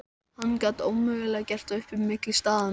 Hann gat ómögulega gert upp á milli staðanna.